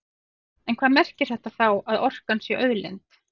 En hvað merkir þetta þá, að orkan sé auðlind?